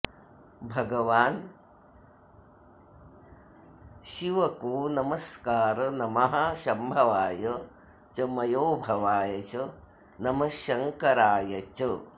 भगवान शिवको नमस्कार नमः शम्भवाय च मयोभवाय च नमः शङ्कराय च